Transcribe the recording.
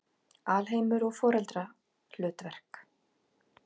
Alheimur og foreldrahlutverk